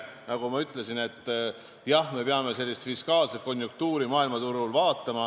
Nagu ma ütlesin, jah, me peame vaatama sellist fiskaalset konjunktuuri maailmaturul.